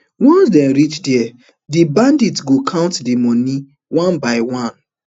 once dem reach dia di bandit go count di moni one by one